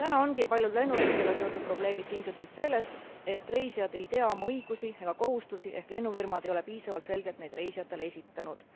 Täna ongi paljud lennureisidega seotud probleemid tingitud sellest, et reisijad ei tea oma õigusi ega kohustusi, ehk lennufirmad ei ole piisavalt selgelt neid reisijatele esitanud.